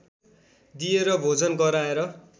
दिएर भोजन गराएर